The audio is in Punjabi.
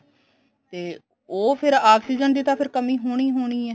ਤੇ ਉਹ ਫੇਰ oxygen ਦੀ ਕਮੀ ਤਾਂ ਹੋਣੀ ਹੀ ਹੋਣੀ ਹੈ